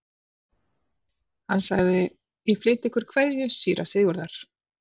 Hann sagði: Ég flyt ykkur kveðju síra Sigurðar.